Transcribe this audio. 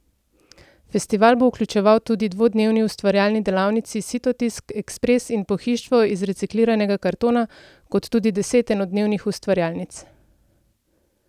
Festival bo vključeval tudi dvodnevni ustvarjalni delavnici Sitotisk ekspress in Pohištvo iz recikliranega kartona kot tudi deset enodnevnih ustvarjalnic.